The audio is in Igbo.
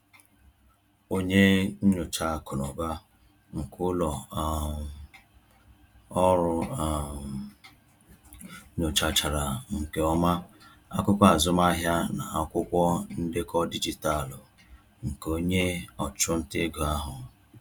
Onye nyocha akụ na ụba nke ụlọ um ọrụ um nyochachara nke ọma akụkọ azụmahịa na akwụkwọ ndekọ dijitalụ nke onye ọchụnta ego ahụ.